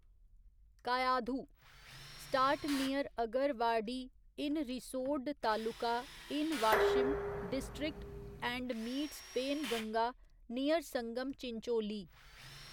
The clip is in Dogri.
Kayadhu start near Agarwadi in Risod taluka in Washim district and meets Penganga near Sangam Chincholi